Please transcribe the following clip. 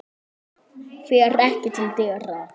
Fer ekki til dyra.